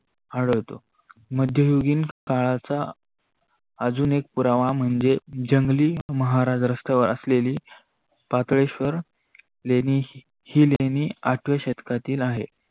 आढळतो. मध्योगीन काळाचा जून एक पुरावा म्हणजे जंगली महाराज रत्यावर असलेल पाताळेश्वर लेणी ही लेनी आठव्या शतकातील आहे.